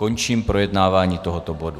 Končím projednávání tohoto bodu.